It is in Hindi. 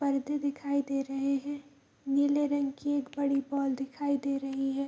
परदे दिखाई दे रहे हैं | नीले रंग की एक बड़ी बॉल दिखाई दे रही है |